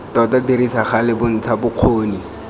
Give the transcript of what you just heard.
tota dirisa gale bontsha bokgoni